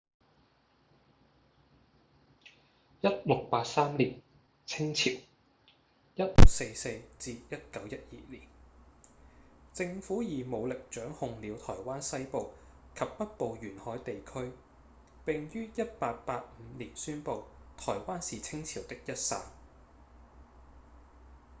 1683年清朝 1644-1912 年政府以武力掌控了臺灣西部及北部沿海地區並於1885年宣布臺灣是清朝的一省